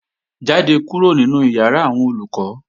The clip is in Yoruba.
Jáde kúrò nínu ìyàrá àwọn Olùkọ́!